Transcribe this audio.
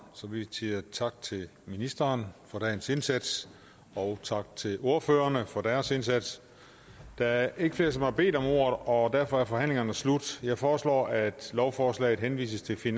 så vi siger tak til ministeren for dagens indsats og tak til ordførerne for deres indsats der er ikke flere som har bedt om ordet og derfor er forhandlingen slut jeg foreslår at lovforslaget henvises til